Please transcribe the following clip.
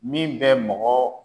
Min bɛ mɔgɔ